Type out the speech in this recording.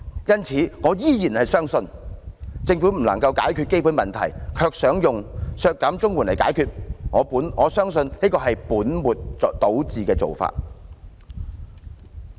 因此，我依然相信，政府不能解決基本問題，卻想利用削減綜援來解決，我相信這是本末倒置的做法。